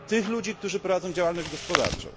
Tych ludzi, którzy prowadzą działalność gospodarczą.